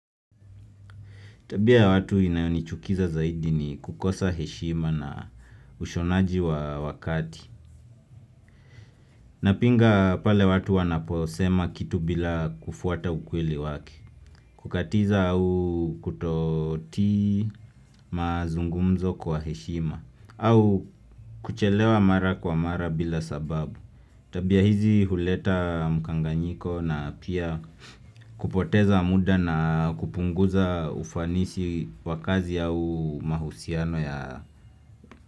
Tabia ya watu inayonichukiza zaidi ni kukosa heshima na ushonaji wa wakati. Napinga pale watu wanaposema kitu bila kufuata ukweli wake. Kukatiza au kutoti mazungumzo kwa heshima. Au kuchelewa mara kwa mara bila sababu. Tabia hizi huleta mkanganyiko na pia kupoteza muda na kupunguza ufanisi wakazi au mahusiano ya.